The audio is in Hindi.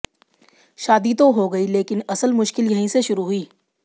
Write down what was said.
शादी तो हो गई लेकिन असल मुश्किल यहीं से शुरु हुईं